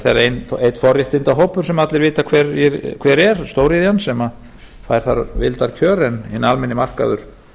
það er þeirra forréttindahópur sem allir vita hver er stóriðjan sem fær þar vildarkjör en hinn almenni markaður